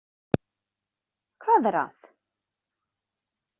Hvað er að?